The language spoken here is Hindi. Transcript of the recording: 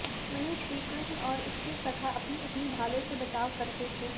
वहीं श्रीकृष्ण और उसके सखा अपनी अपनी ढालों से बचाव करते थे